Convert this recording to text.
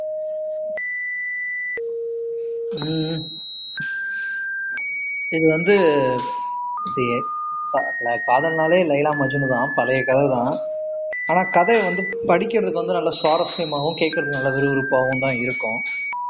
ஹம் இது வந்து இப்போ எ காதல்னாலே லைலா மஜ்னுதான் பழைய கதை தான் ஆனா கதை வந்து படிக்கிறதுக்கு வந்து நல்ல சுவாரஸ்யமாகவும் கேக்குறதுக்கு நல்ல விறுவிறுப்பாகவும் தான் இருக்கும்